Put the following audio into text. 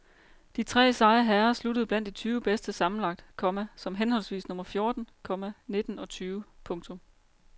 De tre seje herrer sluttede blandt de tyve bedste sammenlagt, komma som henholdsvis nummer fjorten, komma nitten og tyve. punktum